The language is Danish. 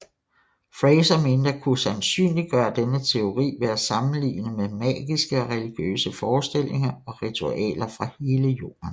Frazer mente at kunne sandsynliggøre denne teori ved at sammenligne med magiske og religiøse forestillinger og ritualer fra hele jorden